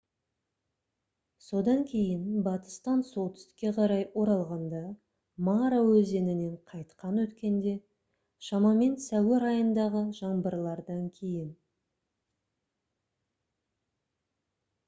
содан кейін батыстан солтүстікке қарай оралғанда мара өзенінен қайтадан өткенде шамамен сәуір айындағы жаңбырлардан кейін